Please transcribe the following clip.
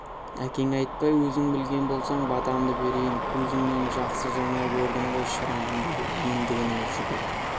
әкең айтпай өзің білген болсаң батамды берейін көзіңнен жақсы жанар көрдім ғой шырағым деді ендігінің жүгі